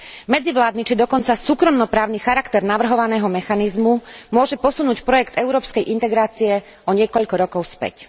Medzivládny či dokonca súkromno právny charakter navrhovaného mechanizmu môže posunúť projekt európskej integrácie o niekoľko rokov späť.